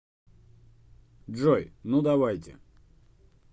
джой ну давайте